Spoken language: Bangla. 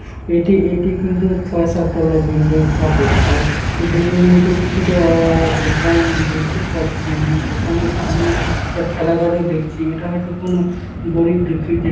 এটি এটি কিন্তু ছয় সাত তলা বিল্ডিং হবে। আর এই বিল্ডিঙের নীচে কিছুটা-আ -আ দোকান দেখতে পাচ্ছি আমি। দোকানের সামনে একটা ঠেলা গাড়ি দেখছি। এটা হয়তো কোন গরিব দুঃখী যে--